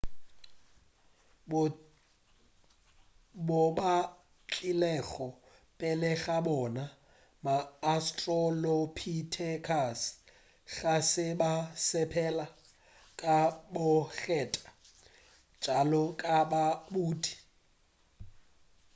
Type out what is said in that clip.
bo batlilego pele ga bona ma-australopithecus ga se ba sepela ka bokgethwa bjalo ka badudi